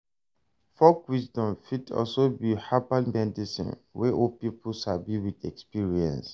Folk wisdom fit also be herbal medicine wey old pipo sabi with experience